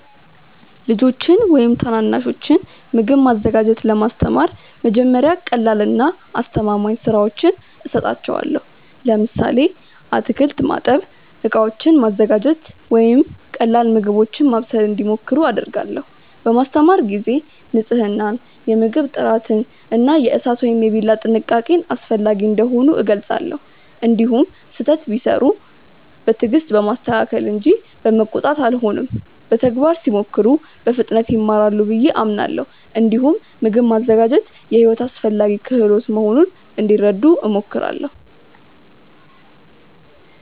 ልጆችን ወይም ታናናሾችን ምግብ ማዘጋጀት ለማስተማር መጀመሪያ ቀላልና አስተማማኝ ሥራዎችን እሰጣቸዋለሁ። ለምሳሌ አትክልት ማጠብ፣ ዕቃዎችን ማዘጋጀት ወይም ቀላል ምግቦችን ማብሰል እንዲሞክሩ አደርጋለሁ። በማስተማር ጊዜ ንፅህናን፣ የምግብ ጥራትን እና የእሳት ወይም የቢላ ጥንቃቄን አስፈላጊ እንደሆኑ እገልጻለሁ። እንዲሁም ስህተት ቢሠሩ በትዕግስት በማስተካከል እንጂ በመቆጣት አልሆንም። በተግባር ሲሞክሩ በፍጥነት ይማራሉ ብዬ አምናለሁ። እንዲሁም ምግብ ማዘጋጀት የሕይወት አስፈላጊ ክህሎት መሆኑን እንዲረዱ እሞክራለሁ።